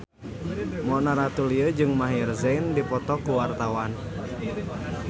Mona Ratuliu jeung Maher Zein keur dipoto ku wartawan